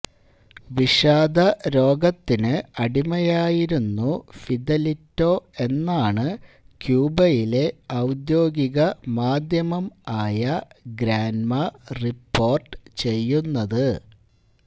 വിഷാദ രോഗത്തിന് അടിമയായിരുന്നു ഫിദലിറ്റോ എന്നാണ് ക്യൂബയിലെ ഔദ്യോഗിക മാധ്യമം ആയ ഗ്രാന്മ റിപ്പോര്ട്ട് ചെയ്യുന്നത്